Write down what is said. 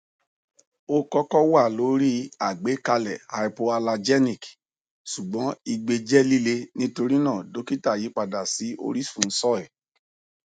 o kọkọ wa lori agbekalẹ hypoallergenic ṣugbọn igbe jẹ lile nitorina dokita yipada si orisun soy